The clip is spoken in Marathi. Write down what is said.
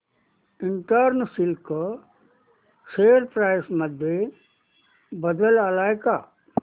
ईस्टर्न सिल्क शेअर प्राइस मध्ये बदल आलाय का